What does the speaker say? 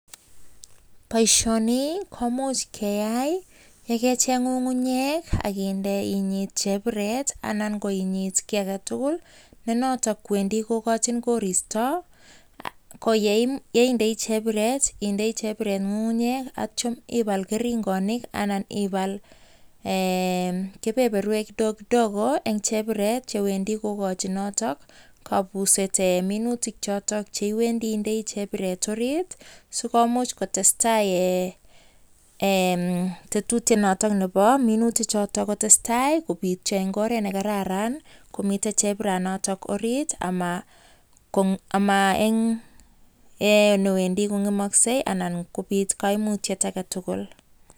Boisioni komuch keyai ye kecheng ng'ung'uyek ak kinde inyit chebiret anan ko inyit kiy age tugul ne noto kwendi kogachin koristo. Ko yeinde chebiret indei chebiret ng'ung'nyek ak ityo ibal keringonik anan iball kebeberwek kidogo kidogo en chebiret che wendi kogachin noto kobuset minutik choto che iwendi indei chebiret orit sikomuch kotestai en tetutyet nto nebo minutik choto kotestai kobityo en ngoret ne kararan komiten chebiranoto orit ama en oret newendi kong'emokse anan kobit koimutyet age tugul.